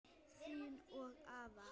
Þín og afa.